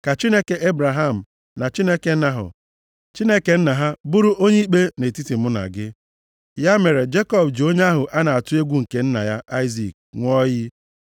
Ka Chineke Ebraham na Chineke Nahọ, + 31:53 Nahọ bụ nwanne Ebraham, \+xt Jen 11:26; 22:20\+xt* bụrụkwa nna nna Leban. \+xt Jen 24:24,29\+xt* Leban bụ nwoke na-efe ọtụtụ chi. \+xt Jen 31:19\+xt* Chineke nna ha, bụrụ onye ikpe nʼetiti mụ na gị.” Ya mere Jekọb ji onye ahụ a na-atụ egwu nke nna ya Aịzik ṅụọ iyi.